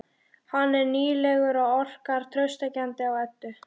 Hann er nýlegur og orkar traustvekjandi á Eddu.